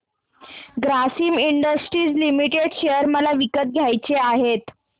Grasim industries limited share मला विकत घ्यायचे आहेत